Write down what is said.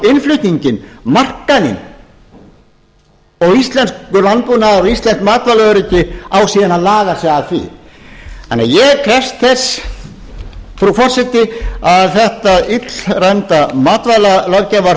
innflutninginn markaðinn og íslenskur landbúnaður og íslenskt matvælaöryggi á síðan að laga sig að því þannig að ég krefst þess frú forseti að þetta illræmda matvælalöggjafarfrumvarpi sem á að heimila innflutning á hráu kjöti að því